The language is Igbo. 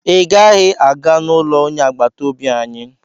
ị gaghị aga n'ụlọ onye agbata obi anyị!